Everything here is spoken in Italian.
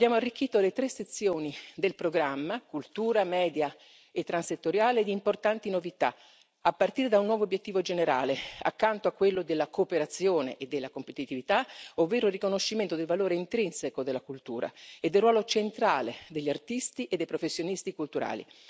Abbiamo arricchito le tre sezioni del programma cultura, media e transettoriale di importanti novità, a partire da un nuovo obiettivo generale, accanto a quello della cooperazione e della competitività, ovvero il riconoscimento del valore intrinseco della cultura e del ruolo centrale degli artisti e dei professionisti culturali.